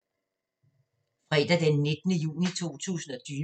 Fredag d. 19. juni 2020